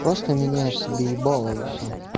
просто меняешь себе ебало и всё